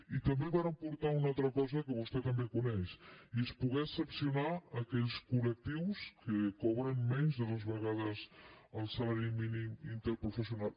i també vàrem portar una altra cosa que vostè també coneix i és poder exceptuar·ne aquells col·lectius que cobren menys de dues vegades el salari mínim interpro·fessional